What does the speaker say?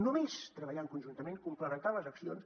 només treballant conjuntament complementant les accions